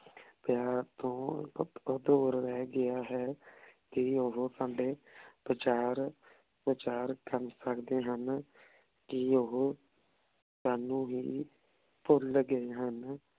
ਪਯਾਰ ਤੋਂ ਰਹ ਗਯਾ ਹੈ ਕੀ ਓਹੋ ਸਾਡੇ ਪਚਾਰ ਪਚਾਰ ਕਰ ਸਕਦੇ ਹਨ ਕੀ ਓਹੋ ਤਾਣੁ ਹੀ ਭੁਲ ਗਾਯ ਹਨ